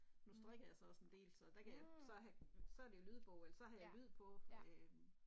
Nu strikker jeg så også en del, så der kan så have så er der lydbog eller så har jeg lyd på øh